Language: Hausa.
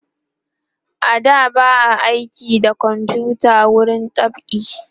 a da ba a aiki da komfuta wurin dab'i